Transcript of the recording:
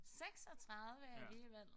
36 alligevel